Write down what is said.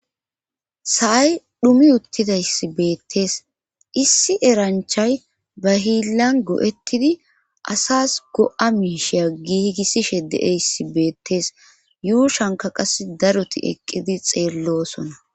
Asaay dhumi uttidayss beettees issi eranchay ba hiillan go'ettidi asas go7a miisheya gigisishe deeyssi beettees yuushanka qas daroti eqqidi xeellosona